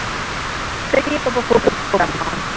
பெரிய பாப்பா fourth போக போறாம்மா